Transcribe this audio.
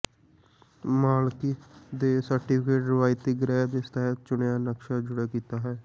ਮਾਲਕੀ ਦੇ ਸਰਟੀਫਿਕੇਟ ਰਵਾਇਤੀ ਗ੍ਰਹਿ ਦੀ ਸਤਹ ਚੁਣਿਆ ਨਕਸ਼ਾ ਜੁੜੇ ਕੀਤਾ ਹੈ